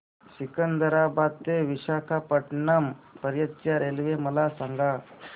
सिकंदराबाद ते विशाखापट्टणम पर्यंत च्या रेल्वे मला सांगा